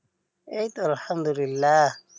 এই তো আল্লাহামদুল্লিলাহ